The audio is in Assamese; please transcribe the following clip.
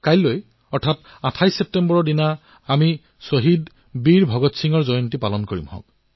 কাইলৈ ২৮ ছেপ্টেম্বৰত আমি শ্বহীৰ বীৰ ভগৎ সিঙৰ জয়ন্তী পালন কৰিম